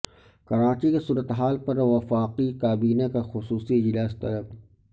کراچی کی صورتحال پر وفاقی کابینہ کا خصوصی اجلاس طلب